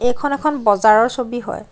এইখন এখন বজাৰৰ ছবি হয়।